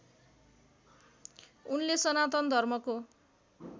उनले सनातन धर्मको